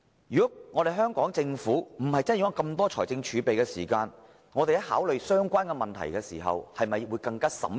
如果香港政府不是擁有這麼大筆財政儲備，在考慮相關問題時會否更小心審慎？